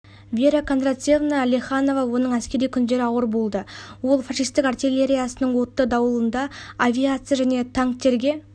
вера кондратьевна леханова оның әскери күндері ауыр болды ол фашистік артиллериясының отты дауылында авиация және танктерға